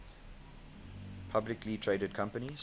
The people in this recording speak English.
publicly traded companies